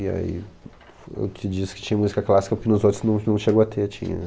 E aí, eu te disse que tinha música clássica, porque nos outros não não chegou a ter, tinha.